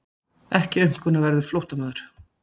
Ekki aumkunarverður flóttamaður.